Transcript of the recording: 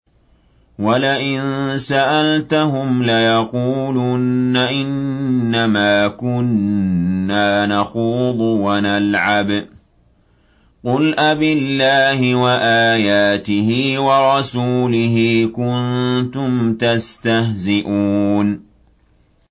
وَلَئِن سَأَلْتَهُمْ لَيَقُولُنَّ إِنَّمَا كُنَّا نَخُوضُ وَنَلْعَبُ ۚ قُلْ أَبِاللَّهِ وَآيَاتِهِ وَرَسُولِهِ كُنتُمْ تَسْتَهْزِئُونَ